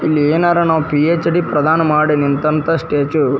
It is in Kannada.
ಇಲ್ಲಿ ಏನಾರ ನಾವ್ ಪಿ.ಎಚ್.ಡಿ ಪ್ರದಾನ ಮಾಡಿ ನಿಂತಂತಹ ಸ್ಟ್ಯಾಚು --